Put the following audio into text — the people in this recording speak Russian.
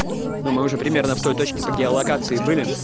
но мы уже примерно в той точке по геолокации были